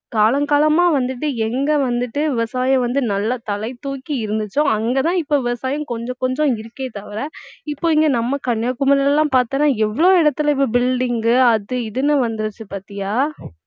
காலம் காலமா வந்துட்டு எங்க வந்துட்டு விவசாயம் வந்து நல்லா தலைதூக்கி இருந்துச்சோ அங்கதான் இப்ப விவசாயம் கொஞ்சம் கொஞ்சம் இருக்கே தவிர இப்ப இங்க நம்ம கன்னியாகுமரியிலலாம் பார்த்தேன்னா எவ்வளவு இடத்துல இப்ப building உ அது இதுன்னு வந்துருச்சு பார்த்தியா